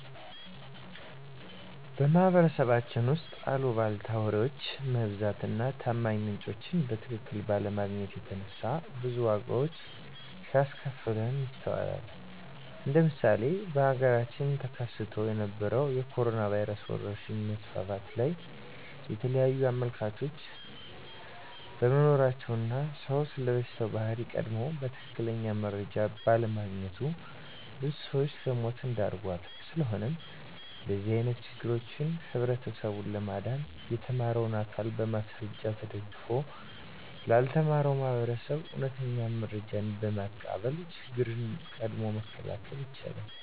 በማህበረሰባችን ውስጥ አልቧልታ ወሬዎች መብዛት እና ታማኝ ምንጮችን በትክክል ባለማግኘት የተነሳ ብዙ ዋጋዎች ሲያስከፍለን ይስተዋላል እንደ ምሳሌ በሀገራችን ተከስቶ በነበረዉ የኮሮኖ ቫይረስ ወረርሽኝ መስፋፋት ላይ የተለያዩ አመለካከቶች በመኖራቸው እና ሰዉ ስለበሽታው ባህሪ ቀድሞ በትክክል መረጃ ባለማግኘቱ ብዙ ሰዎችን ለሞት ዳርጓል። ስለሆነም ከእንደዚህ አይነት ችግሮች ህብረተሰቡን ለማዳን የተማረው አካል በማስረጃ ተደግፎ ላልተማረው ማህበረሰብ እውነተኛ መረጃዎችን በማቅረብ ችግሮችን ቀድሞ መከላከል ይቻላል።